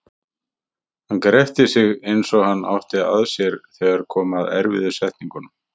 Hann gretti sig eins og hann átti að sér þegar kom að erfiðu setningunum.